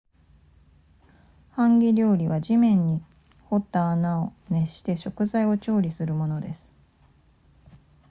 ハンギ料理は地面に掘った穴を熱して食材を調理するものです